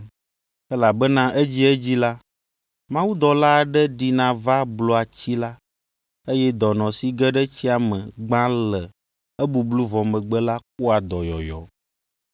Elabena edziedzi la, mawudɔla aɖe ɖina va blua tsi la, eye dɔnɔ si ge ɖe tsia me gbã le ebublu vɔ megbe la kpɔa dɔyɔyɔ.